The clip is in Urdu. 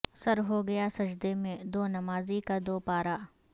سر ہوگیا سجدے میں دو نمازی کا دو پارا